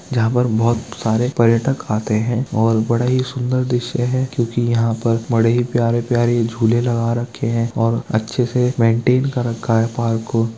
जहां पर बहुत सारे पर्यटक आते है और बड़ा ही सुन्दर दृश्य है क्यूंकी यहां पर बड़े ही प्यारे-प्यारी झूले लगा रखे है और अच्छे से मैन्टैन कर रखा है पार्क को।